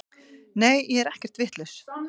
Nei ég er ekkert vitlaus.